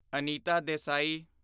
Anita Desai